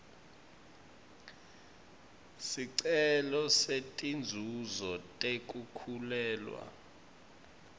sicelo setinzuzo tekukhulelwa